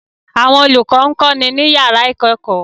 Àwọn olùkọ́ ń kọ́ni ní yàrá ìkẹ́kọ̀ọ́